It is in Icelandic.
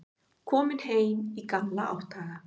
Kominn heim í gamla átthaga.